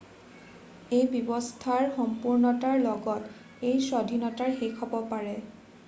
এই ব্যবস্থাৰ সম্পুৰ্ণতাৰ লগত, এই স্বাধীনতা শেষ হব পাৰে।